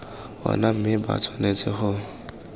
ona mme ba tshwanetse go